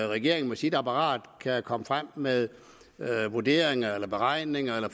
regeringen med sit apparat kan komme frem med vurderinger eller beregninger eller